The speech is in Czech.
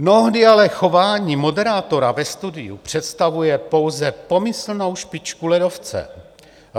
Mnohdy ale chování moderátora ve studiu představuje pouze pomyslnou špičku ledovce.